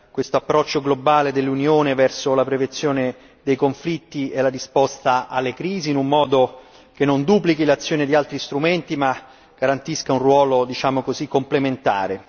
questo approccio globale dell'Unione verso la prevenzione dei conflitti e la risposta alle crisi, in un modo che non duplichi l'azione di altri strumenti, ma garantisca un ruolo, diciamo così, complementare.